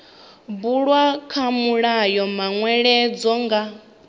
bulwa kha mulayo manweledzo nga